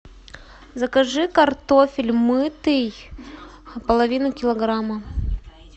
закажи картофель мытый половину килограмма